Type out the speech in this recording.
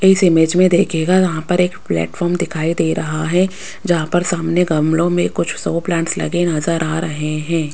इस इमेज मे देखियेगा यहां पर एक प्लेटफार्म दिखाई दे रहा है जहां पर सामने गमलों मे कुछ शो प्लांट्स लगे नज़र आ रहे है।